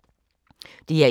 DR1